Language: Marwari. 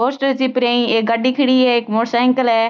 पोस्टर चिप रहे है एक गाड़ी खड़ी है एक मोटर साइकिल है।